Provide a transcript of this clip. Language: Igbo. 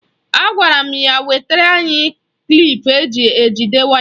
Agwara m ya wetara anyị klip eji ejide waya.